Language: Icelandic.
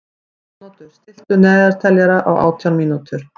Arnoddur, stilltu niðurteljara á átján mínútur.